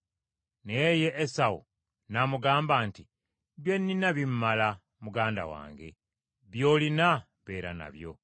Naye ye Esawu n’amugamba nti, “Bye nnina bimmala, muganda wange, by’olina beera nabyo.”